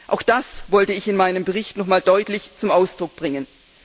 Auch das wollte ich in meinem Bericht noch einmal deutlich zum Ausdruck bringen.